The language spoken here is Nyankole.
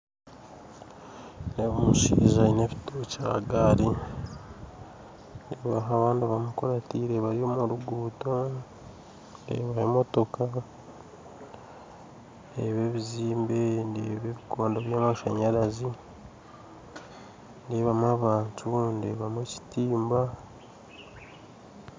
Nindeeba omushaija aine ebitookye aha gaari nindeeba abandi bamukurateire bari omu rugundo nindeeba emotooka ndeeba ebizimbe, ndeeba ebikondo by'amashanyaarazi nindeebamu abantu ndeebamu ekitimba